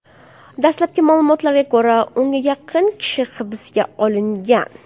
Dastlabki ma’lumotlarga ko‘ra, o‘nga yaqin kishi hibsga olingan.